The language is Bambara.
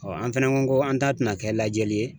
an fɛnɛ ko ko an ta tɛna kɛ lajɛli ye